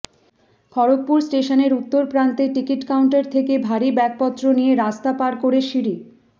খড়্গপুর স্টেশনের উত্তর প্রান্তে টিকিট কাউন্টার থেকে ভারী ব্যাগপত্র নিয়ে রাস্তা পার করে সিঁড়ি